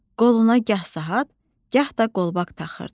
Qoluna gah saat, gah da qolbaq taxırdı.